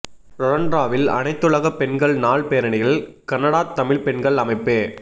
ரொறோன்ரவில் அனைத்துலகப் பெண்கள் நாள் பேரணியில் கனடாத் தமிழ்ப் பெண்கள் அமைப்பு